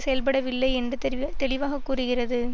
செயல்படவில்லை என்று தெரிவ தெளிவாகக்கூறுகிறது